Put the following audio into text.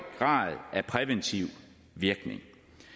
grad af præventiv virkning